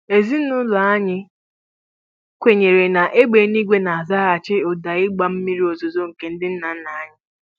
Ezinụlọ anyị kwenyere na égbè eluigwe na-azaghachi ụda ịgbà mmiri ozuzo nke ndị nna nna anyị.